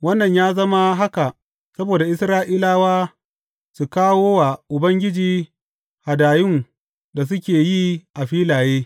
Wannan ya zama haka saboda Isra’ilawa su kawo wa Ubangiji hadayun da suke yi a filaye.